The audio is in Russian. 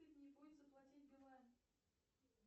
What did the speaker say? заплатить билайн